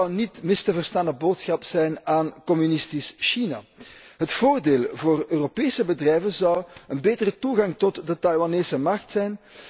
Het zou een niet mis te verstane boodschap zijn aan communistisch China. Het voordeel voor Europese bedrijven zou een betere toegang tot de Taiwanese markt zijn.